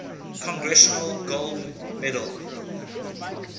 congressional gold medal